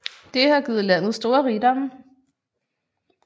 Det har givet landet store rigdomme